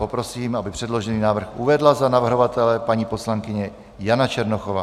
Prosím, aby předložený návrh uvedla za navrhovatele paní poslankyně Jana Černochová.